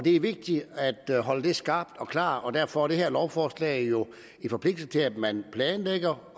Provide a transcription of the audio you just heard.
er vigtigt at holde det skarpt og klart og derfor er det her lovforslag jo en forpligtelse til at man planlægger